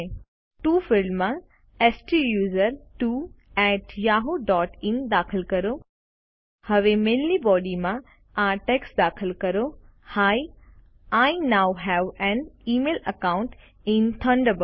to ફિલ્ડમાં સ્ટુસર્ટવો at Yahoo dot in દાખલ દો હવે મેઈલની બોડીમાં આ ટેક્સ્ટ દાખલ કરો હી આઇ નોવ હવે an email account in Thunderbird